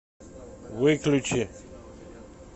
выключи